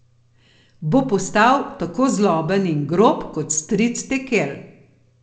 Bo postal tako zloben in grob kot stric Tekel?